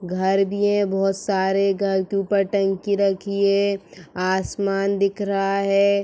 घर भी है बहुत सारे घर के ऊपर टंकी रखी है। आसमान दिख रहा है।